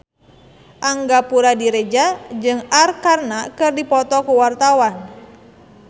Angga Puradiredja jeung Arkarna keur dipoto ku wartawan